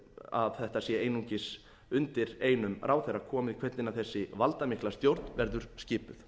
að þetta sé einungis undir einum ráðherra komið hvernig þessi valdamikla stjórn verður skipuð